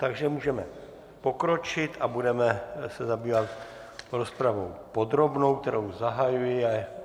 Takže můžeme pokročit a budeme se zabývat rozpravou podrobnou, kterou zahajuji.